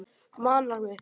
Manar mig.